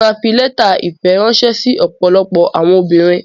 Emi ma fi lẹta ìfẹ ránṣẹ sí ọ̀pọ̀lọpọ̀ àwọn obìnrin.